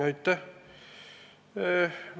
Aitäh!